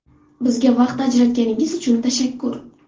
Bizga vaqt ajratganingiz uchun tashakkur.